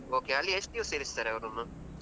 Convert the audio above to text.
Okay , ಅಲ್ಲಿ ಎಷ್ಟು ದಿವಸ ಇರಿಸ್ತಾರೆ ಅವರನ್ನು?